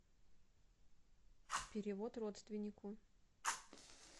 перевод родственнику